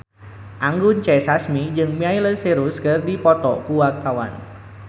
Anggun C. Sasmi jeung Miley Cyrus keur dipoto ku wartawan